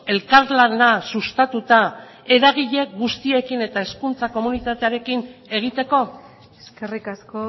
elkarlana sustatuta eragile guztiekin eta hezkuntza komunitatearekin egiteko eskerrik asko